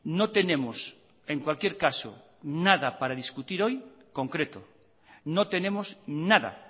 no tenemos en cualquier caso nada para discutir hoy concreto no tenemos nada